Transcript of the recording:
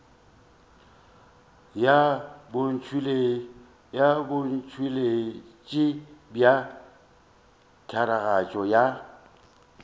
ya botšweletši bja tiragatšo ya